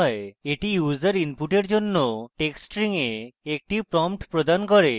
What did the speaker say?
এটি user input জন্য text string a একটি prompt প্রদান করে